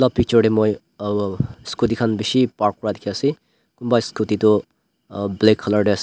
la picture tey moi uhh scooty khan bishi park kura dikhi ase kunba iscooty toh uh black color tey ase--